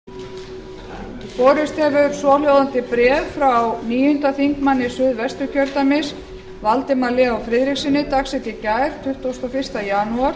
borist hefur svohljóðandi bréf frá háttvirtur níundi þingmaður suðvesturkjördæmis valdimar leó friðrikssyni dags í gær tuttugasta og fyrsta janúar